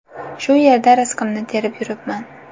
Shu yerda rizqimni terib yuribman.